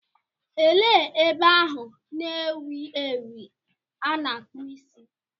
Elee ebe ahụ na-ewu ewu a na-akpụ isi?